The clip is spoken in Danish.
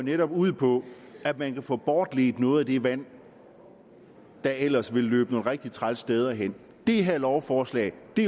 netop ud på at man kan få bortledt noget af det vand der ellers ville løbe nogle rigtig trælse steder hen det her lovforslag